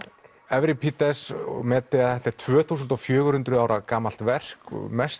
evripídes og Medea þetta er tvö þúsund og fjögur hundruð ára gamalt verk